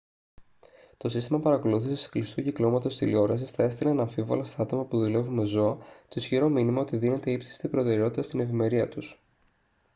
«το σύστημα παρακολούθησης κλειστού κυκλώματος τηλεόρασης θα έστελνε αναμφίβολα στα άτομα που δουλεύουν με ζώα το ισχυρό μήνυμα ότι δίνεται ύψιστη προτεραιότητα στην ευημερία τους»